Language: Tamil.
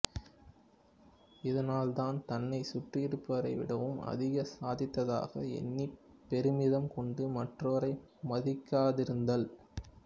இதனால் தான் தன்னைச் சுற்றியிருப்போரை விடவும் அதிகம் சாதித்ததாக எண்ணிப் பெருமிதம் கொண்டு மற்றோரை மதிக்காதிருத்தல்